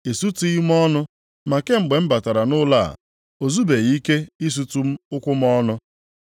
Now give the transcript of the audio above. Ị sutughị m ọnụ, ma kemgbe m batara nʼụlọ a, o zubeghị ike isutu ụkwụ m ọnụ.